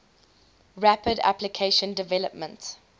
rapid application development